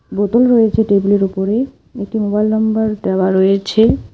বোতল রয়েছে টেবিল -এর ওপরে একটি মোবাইল নম্বর দেওয়া রয়েছে।